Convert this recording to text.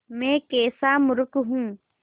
मैं कैसा मूर्ख हूँ